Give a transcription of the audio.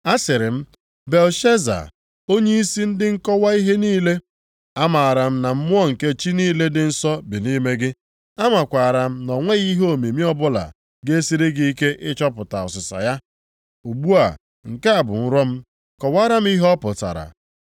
Asịrị m, “Belteshaza, onyeisi ndị nkọwa ihe niile. Amaara m na mmụọ nke chi niile dị nsọ bi nʼime gị. Amakwaara m na o nweghị ihe omimi ọbụla ga-esiri gị ike ịchọpụta ọsịsa ya. Ugbu a, nke a bụ nrọ m, kọwaara m ihe ọ pụtara.